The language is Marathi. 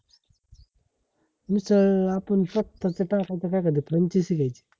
मिसळ अ आपण स्वततःच टाकायच काय करते franchises घ्यायची